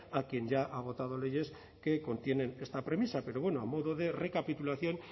a quien ya ha votado leyes que contienen esta premisa pero bueno a modo de recapitulación